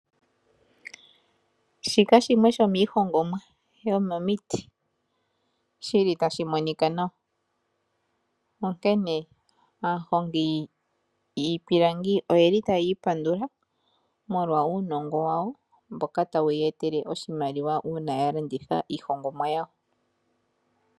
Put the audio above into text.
Shika shimwe sho miihongomwa yo momiiti shili tashi monika nawa. Onkene aahongi yiipilangi oye li taayi ipandula molwa uunongo wayo mboka tawu ye etele oshimaliwa una ya landitha iihongomwa yawo.